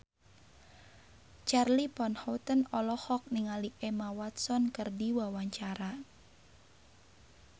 Charly Van Houten olohok ningali Emma Watson keur diwawancara